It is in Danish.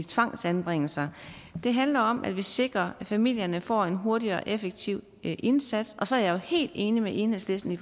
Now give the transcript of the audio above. tvangsanbringelser det handler om at vi sikrer at familierne får en hurtig og effektiv indsats så er jeg jo helt enig med enhedslisten i